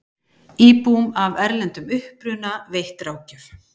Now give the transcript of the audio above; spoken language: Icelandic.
Íbúum af erlendum uppruna veitt ráðgjöf